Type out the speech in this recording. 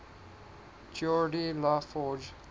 geordi la forge